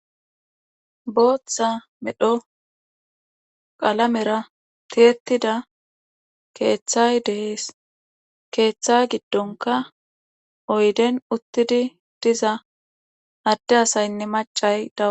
Bootha medho qalamera tiyettida keethay de7ees keetha giddonkka oyden uttidi diza adde asaynne macca da.